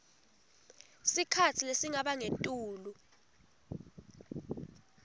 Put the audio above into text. sikhatsi lesingaba ngetulu